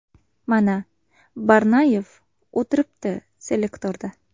Mana, Barnoyev o‘tiribdi selektorda.